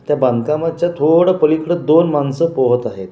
त्या बांधकामाच्या थोडं पलीकडे दोन माणसं पोहत आहेत.